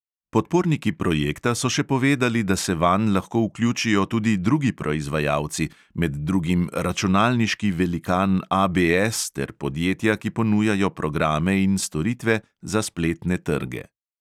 Podporniki projekta so še povedali, da se vanj lahko vključijo tudi drugi proizvajalci, med drugim računalniški velikan ABS ter podjetja, ki ponujajo programe in storitve za spletne trge.